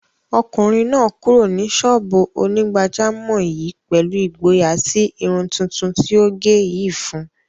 Ọmọkùnrin náà kúrò ní sọ́ọ̀bù onígbàjámọ̀ yìí pẹ̀lú ìgboyà tí irun tuntun tí ó gẹ̀ yìí fún un.